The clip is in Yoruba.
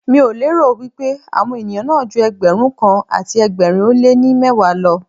Mi ò lérò wípé àwọn ènìyàn náà ju Ẹgbẹ̀rún kan àti ẹgbẹ̀rin ó lé ní mẹ́wàá lọ.